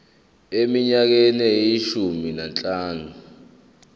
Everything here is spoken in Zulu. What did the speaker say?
eminyakeni eyishumi nanhlanu